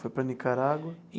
Foi para a Nicarágua?